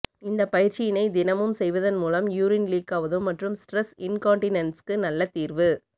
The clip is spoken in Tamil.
இந்தப் பயிற்சியினை தினமும் செய்வதன் மூலம் யூரின் லீக்காவதும் மற்றும் ஸ்ட்ரெஸ் இன்கான்டினென்ஸ்க்கு நல்ல தீர்வு